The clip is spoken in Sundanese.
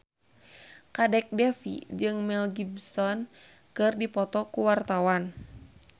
Kadek Devi jeung Mel Gibson keur dipoto ku wartawan